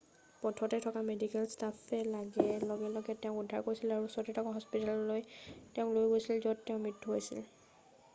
পথতে থকা মেডিকেল ষ্টাফে লগে লগে তেওঁক উদ্ধাৰ কৰিছিল আৰু ওচৰতে থকা এখন হস্পিতাললৈ তেওঁক লৈ গৈছিল য'ত পাছত তেওঁৰ মৃত্যু হৈছিল